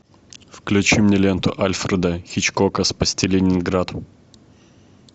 включи мне ленту альфреда хичкока спасти ленинград